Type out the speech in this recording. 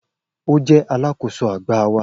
O jẹ alakoso agba wa